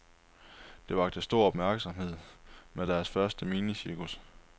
De vakte stor opmærksomhed med deres første minicirkus.